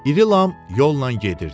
İri Lam yolla gedirdi.